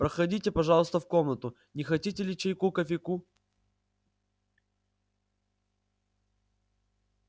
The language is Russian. проходите пожалуйста в комнату не хотите ли чайку кофейку